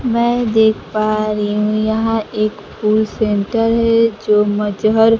मैं देख पा रही हूं यहां एक फूल सेंटर है जो मजहर--